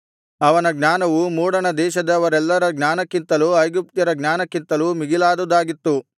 ಅವನ ಜ್ಞಾನವು ಮೂಡಣದೇಶದವರೆಲ್ಲರ ಜ್ಞಾನಕ್ಕಿಂತಲೂ ಐಗುಪ್ತ್ಯರ ಜ್ಞಾನಕ್ಕಿಂತಲೂ ಮಿಗಿಲಾದುದಾಗಿತ್ತು